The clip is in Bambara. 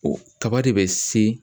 O kaba de bɛ se